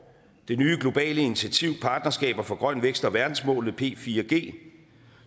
det nye globale initiativ partnerskaber for grøn vækst og verdensmålene p4g